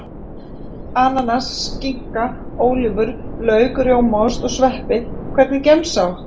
Ananas skinka, ólívur, lauk rjómaost, og sveppi Hvernig gemsa áttu?